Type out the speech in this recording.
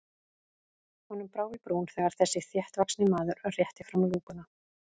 Honum brá í brún þegar þessi þéttvaxni maður rétti fram lúkuna.